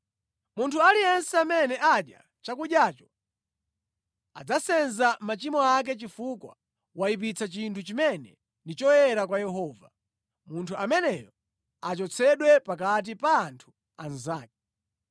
Munthu aliyense amene adya chakudyacho adzasenza machimo ake chifukwa wayipitsa chinthu chimene ndi choyera kwa Yehova. Munthu ameneyo achotsedwe pakati pa anthu anzake.